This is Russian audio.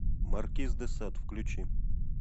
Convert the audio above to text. маркиз де сад включи